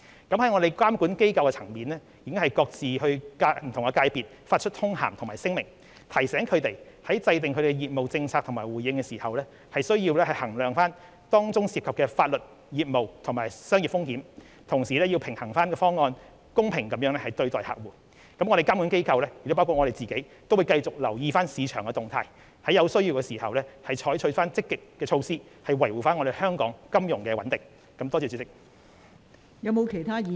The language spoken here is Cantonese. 本港的監管機構已各自向不同界別發出通函和聲明，提醒他們在制訂業務政策和回應時，需要衡量當中涉及的法律、業務和商業風險，同時要平衡各方，公平對待客戶。本港的監管機構會繼續留意市場動態，有需要時會採取積極措施，維護香港的金融穩定。